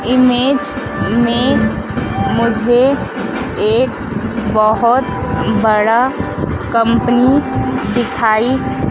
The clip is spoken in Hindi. इमेज में मुझे एक बहोत बड़ा कम्पनी दिखाई --